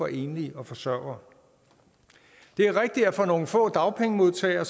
enlige og forsørgere det er rigtigt at for nogle få dagpengemodtagere